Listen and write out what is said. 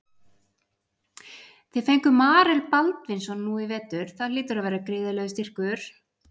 Þið fenguð Marel Baldvinsson nú í vetur það hlýtur að vera gríðarlegur styrkur?